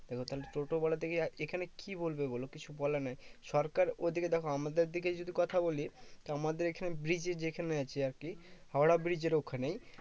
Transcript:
এবার টোটোওয়ালা দের কে এখানে কি বলবে বলো কিছু বলার নেই সরকার ওদিকে দেখো আমাদের দিকে যদি কথা বলি তো আমাদের এখানে bridge যেখানে আছে আর কি হাওড়া bridge এর ওইখানেই